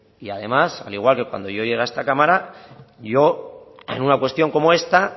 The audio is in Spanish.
y además al igual que cuando yo llegué a esta cámara yo en una cuestión como esta